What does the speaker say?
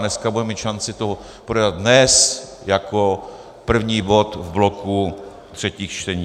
Dneska budeme mít šanci to projednat dnes jako první bod v bloku třetích čtení.